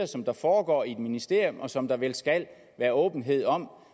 som der foregår i et ministerium og som der vel skal være åbenhed om